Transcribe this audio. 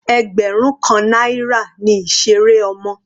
Ẹgbẹrun kan náírà ni ìseré ọmọ.